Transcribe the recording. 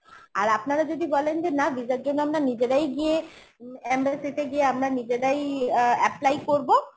আর আপনারা যদি বলেন যে না visa র জন্য আমরা নিজেরাই গিয়ে উম embassy গিয়ে আমরা নিজেরাই অ্যা apply করবো